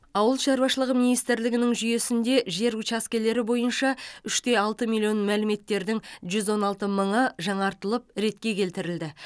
ауыл шаруашылығы министрлігінің жүйесінде жер учаскелері бойынша үш те алты миллион мәліметтердің жүз он алты мыңы жаңартылып және ретке келтірілді